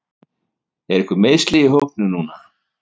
Eru einhver meiðsli á hópnum núna?